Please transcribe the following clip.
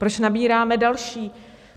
Proč nabíráme další?